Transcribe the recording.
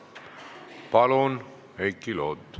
Palun, Heiki Loot!